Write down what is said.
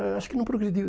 é, Acho que não progrediu.